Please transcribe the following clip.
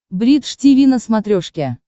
бридж тиви на смотрешке